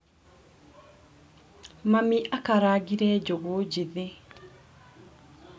Mami akarangire njugu njĩthĩ